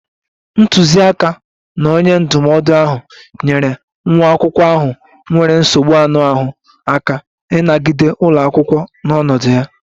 Ntuziaka na onye ndụmọdụ ahụ nyeere nwa akwụkwọ ahụ nwere nsogbu anụ ahụ aka ịnagide ụlọ akwụkwọ n'ọnọdụ ya